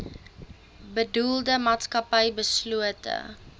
bedoelde maatskappy beslote